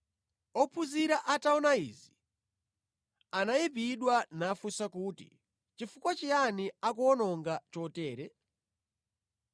Ophunzira ataona izi anayipidwa nafunsa kuti, “Chifukwa chiyani akuwononga chotere?